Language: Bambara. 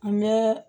An bɛ